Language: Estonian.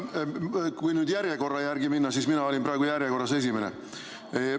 Kui nüüd järjekorra järgi minna, siis mina olin praegu järjekorras esimene.